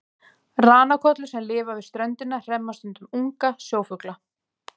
Ranakollur sem lifa við ströndina hremma stundum unga sjófugla.